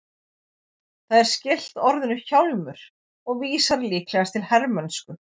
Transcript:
Það er skylt orðinu hjálmur og vísar líklegast til hermennsku.